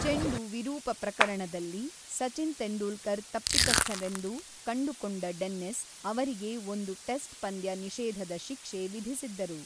ಚೆಂಡು ವಿರೂಪ ಪ್ರಕರಣದಲ್ಲಿ ಸಚಿನ್ ತೆಂಡೂಲ್ಕರ್ ತಪ್ಪಿತಸ್ಥರೆಂದು ಕಂಡುಕೊಂಡ ಡೆನ್ನಿಸ್, ಅವರಿಗೆ ಒಂದು ಟೆಸ್ಟ್ ಪಂದ್ಯ ನಿಷೇಧದ ಶಿಕ್ಷೆ ವಿಧಿಸಿದ್ದರು.